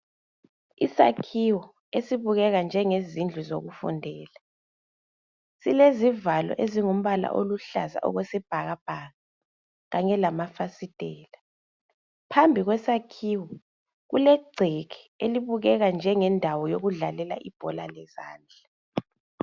Isakhiwo esibukeka njengezindlu zokufundela silezivalo ezilombala wesibhakabhaka kanye lamafasitela phambi kwesakhiwo kulegceke elibukeka njengendawo yokudlalela ibhola lezandla